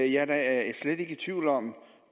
jeg er da slet ikke i tvivl om